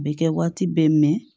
A bɛ kɛ waati bɛɛ mɛn